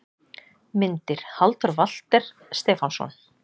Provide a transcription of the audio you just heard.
Myndir: Halldór Walter Stefánsson